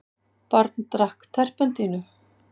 Barn drakk terpentínu